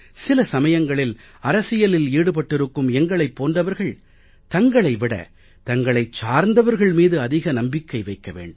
சில சமயங்களில் அரசியலில் ஈடுபட்டிருக்கும் எங்களைப் போன்றவர்கள் தங்களை விட தங்களைச் சார்ந்தவர்கள் மீது அதிக நம்பிக்கை வைக்க வேண்டும்